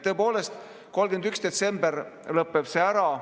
Tõepoolest, 31. detsembril lõpeb see ära.